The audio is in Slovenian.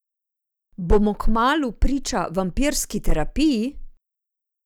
Bomo kmalu priča vampirski terapiji?